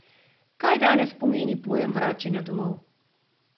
Kaj danes pomeni pojem vračanja domov?